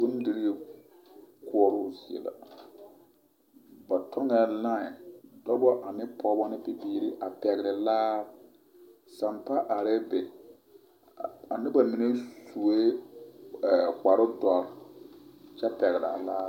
Bondirii koɔroo zie, ba tɔŋɛɛ laē, dɔbɔ ane pɔgebɔ ane bibiiri a pɛgele laare Sampa arɛɛ be a noba mine sue kpare dɔre kyɛ pɛgele a laare.